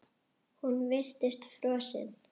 Hún virtist frosin.